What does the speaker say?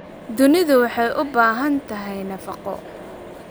Dunidu waxay u baahan tahay nafaqo.